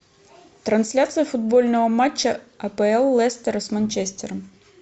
трансляция футбольного матча апл лестера с манчестером